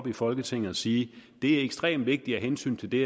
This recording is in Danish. i folketinget og sige det er ekstremt vigtigt af hensyn til det